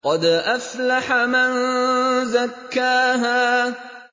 قَدْ أَفْلَحَ مَن زَكَّاهَا